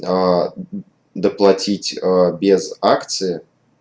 аа доплатить ээ без акции